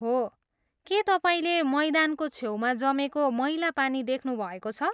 हो, के तपाईँले मैदानको छेउमा जमेको मैला पानी देख्नुभएको छ?